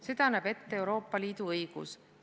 Seda näeb ette Euroopa Liidu õigus.